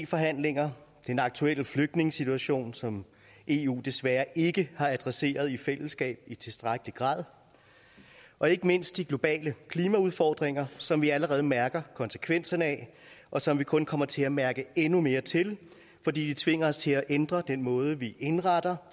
forhandlinger den aktuelle flygtningesituation som eu desværre ikke har adresseret i fællesskab i tilstrækkelig grad og ikke mindst de globale klimaudfordringer som vi allerede nu mærker konsekvenserne af og som vi kun kommer til at mærke endnu mere til fordi de tvinger os til at ændre den måde vi indretter